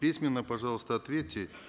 письменно пожалуйста ответьте